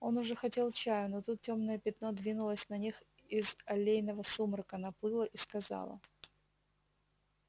он уже хотел чаю но тут тёмное пятно двинулось на них из аллейного сумрака наплыло и сказало